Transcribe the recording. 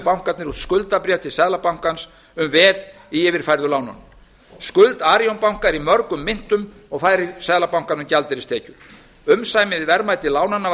bankarnir út skuldabréf til seðlabankans um veð í yfirfærðu lánunum skuld arionbanka er í mörgum myntum og færir seðlabankanum gjaldeyristekjur umsamið verðmæti lánanna var